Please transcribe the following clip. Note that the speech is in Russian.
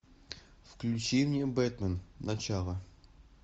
включи мне бэтмен начало